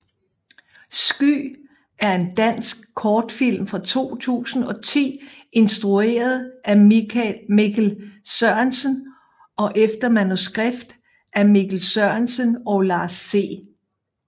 Sky er en dansk kortfilm fra 2010 instrueret af Mikkel Sørensen og efter manuskript af Mikkel Sørensen og Lars C